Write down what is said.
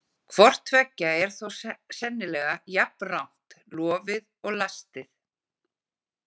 Hvort tveggja er þó sennilega jafnrangt, lofið og lastið.